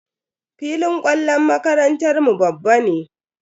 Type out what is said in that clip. Filin kwallon makarantar mu babban ne.